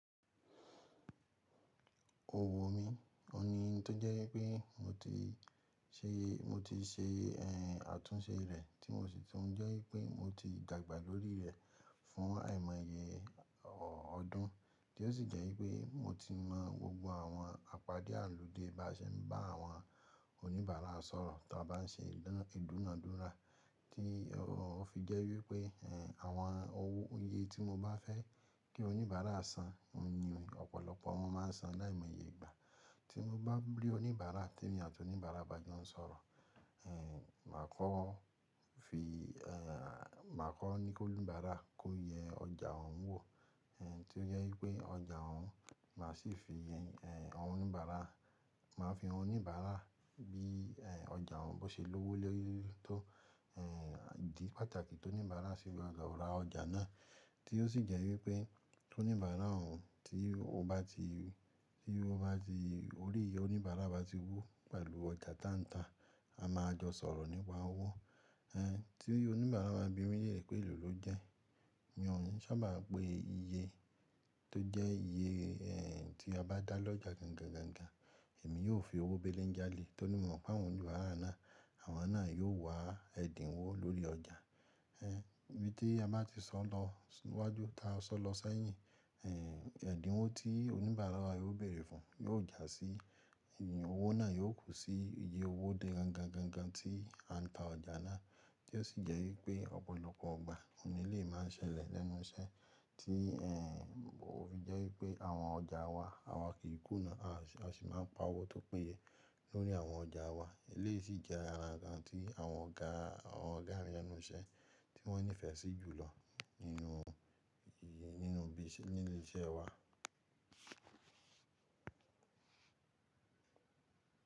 Òwò mi, ní oun tó jẹ́ wípé mo ti ṣe, mo ti ṣe ẹ̀ àtúnṣe rẹ tí mo sì tún jẹ́ wípé mo ti dàgbà lórí rẹ fún àìmọye ọdún, tí ó sì jẹ́ wípé mo ti mọ gbogbo àwọn àpádé àlùde bá ṣe ń bá àwọn oníbàárà sọ̀rọ̀ tí a bá ń ṣe ìdúnàádúrà, tí ó fi jẹ́ wípé àwọn owó iyè tí mo bá fẹ́ kí oníbàárà san, ni ọ̀pọ̀lọpọ̀ wọn máa ń san láìmọye ìgbà. Tí mo bá tun rí oníbàárà tí èmi àti oníbàárà bá jọ sọ̀rọ̀, eh, màá kọ́ fi, màá kọ́ ní kí oníbàárà kó yẹ ọjà òun wò, tí ó jẹ́ wípé ọjà òun, màá sì fi yẹn, àwọn oníbàárà, màá fi han oníbàárà bí, ọjà òun bó ṣe lówó lórí tó, idi pàtàkì tí oníbàárà ṣe máa gbọdo ra ọjà náà, tí ó sì jẹ́ wípé oníbàárà òun tí ó bá ti, tí ó bá ti, órí oníbàárà bá ti wú pẹ̀lú ọjà tanta, a máa jọ sọ̀rọ̀ nípa owó, tí oníbàárà ba bími leere pé èlò ló jẹ́. Mi ò ní sábà pe iye tó jẹ́ iye tí a bá dá lọ́jà gangan gan gan, èmi yóò fi owó bé léńjà lé e, torí mo mọ̀ pé àwọn oníbàárà náà, àwọn náà yóò wá ẹ́ dínwó lórí ọjà. Eh, ibí tí a bá ti sọ lọ sí iwájú ta a sọ lọ sẹ́yìn, ẹ̀dínwó tí oníbàárà yóò bèèrè fún yóò jásí ìyìn, owó náà yóò kú sí iye owó dé gangan gan gan tí a ń ta ọjà náà, tí ó sì jẹ́ wípé ọ̀pọ̀lọpọ̀ ọgbà, òní elèyii máa ṣẹlẹ̀ lẹ́nu iṣẹ́ tí, ó fi jẹ́ wípé àwọn ọjà wa, àwa kì í kùnà, a sì máa ń pa owó tó péye lórí àwọn ọjà wa. Eléyìí sì jẹ́ ara kan tí àwọn ọ̀gá, àwọn ọ̀gá mi lẹnu iṣẹ́ tí wọ́n nífẹ̀ẹ́ sí jù lọ nínú, nínú ibi nílé iṣẹ́ wa.